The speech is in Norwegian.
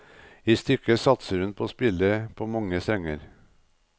I stykket satser hun på å spille på mange strenger.